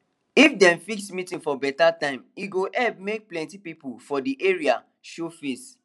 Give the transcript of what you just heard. if dem fix meeting for beta time e go help make plenty people from de area show face